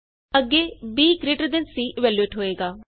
ਅੱਗੇ BGTC evaluate ਹੋਏਗਾ